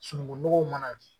Sununkun nɔgɔw mana